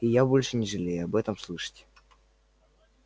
и я больше не жалею об этом слышать